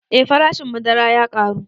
Eh farashin madara ya ƙaru